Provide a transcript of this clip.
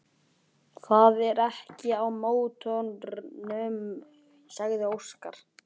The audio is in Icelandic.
Það er ekkert að mótornum, sagði Óskar.